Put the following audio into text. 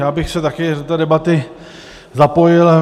Já bych se také do té debaty zapojil.